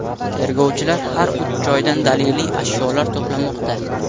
Tergovchilar har uch joydan daliliy ashyolar to‘plamoqda.